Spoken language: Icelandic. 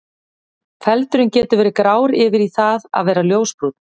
Feldurinn getur verið grár yfir í það að vera ljósbrúnn.